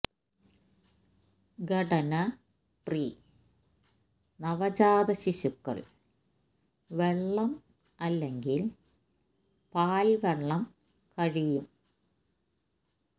ഘടന പ്രി നവജാത ശിശുക്കൾ വെള്ളം അല്ലെങ്കിൽ പാൽ വെള്ളം കഴിയും